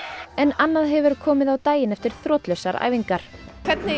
en annað hefur komið á daginn eftir þrotlausar æfingar hvernig